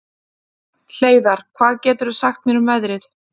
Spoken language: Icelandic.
Hleiðar, hvað geturðu sagt mér um veðrið?